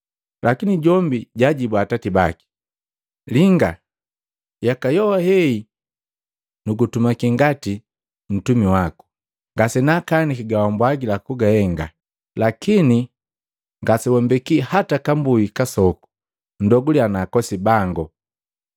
Lakini jombi jaajibua atati baki, ‘Linga, yaka joha heyi nugu tumaki ngati mtumi waku, ngasenakaaniki gawambwagila kuhenga. Lakini ngasewambeki hata kambui kasoku ndoguliya na akosi bango!